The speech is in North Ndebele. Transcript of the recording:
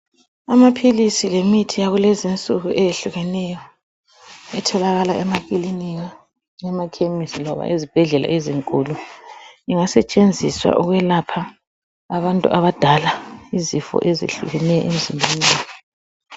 Amaphilisi lemithi yakulezinsuku eyehlukeneyo etholakala emakilinika, emakhemesi loba ezibhedlela ezinkulu, ingasetshenziswa ukwelapha abantu abadala izifo ezehlukeneyo emizimbeni yabo